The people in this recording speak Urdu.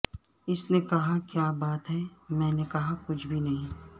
اس نے کہا کیا بات ہے میں نے کہا کچھ بھی نہیں